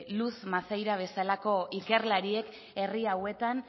luz maceira bezalako ikerlariek herri hauetan